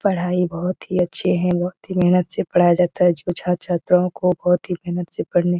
पढ़ाई बहुत ही अच्छी है बहुत ही मेहनत से पढ़ाया जाता है जो छात्र-छात्राओं को बहुत ही मेहनत से पढ़ने --